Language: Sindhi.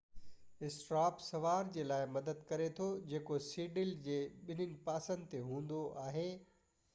اسٽر اپ سوار جي لاءِ مدد ڪري ٿو جيڪو سيڊل جي ٻني پاسن تي هوندو آهي